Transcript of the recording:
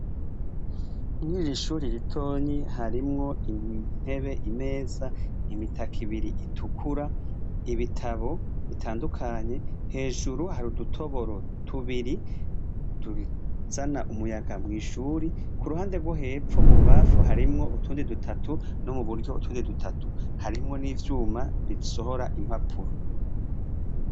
Mwiji ishuri ritonyi harimwo inpebe imeza imitaka ibiri itukura ibitabo bitandukanye hejuru hari udutoboro tubiri duzana umuyaga mw'ishuri ku ruhande rwo hepfo mu bubafu harimwo utundi dutatu no mu buryo utundi dutatu harimwo n'ivyuma risohora impapuro.